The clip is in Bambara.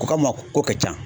U Ko an ma ko ka ca.